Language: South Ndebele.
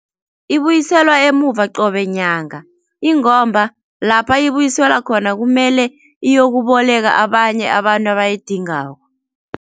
Ibuyiselwa emuva qobe nyanga ingomba lapha ibuyiselwa khona kumele iyokuboleka abanye abantu abayidingako.